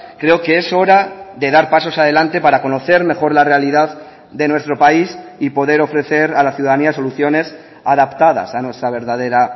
creo que es hora de dar pasos adelante para conocer mejor la realidad de nuestro país y poder ofrecer a la ciudadanía soluciones adaptadas a nuestra verdadera